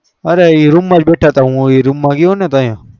અરે એ room બેઠા હું room જ બેઠા તા ત્યાર